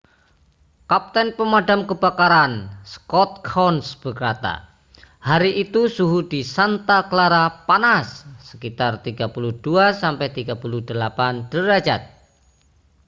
kapten pemadam kebakaran scott kouns berkata hari itu suhu di santa clara panas sekitar 32-38 derajat